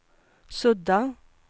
sudda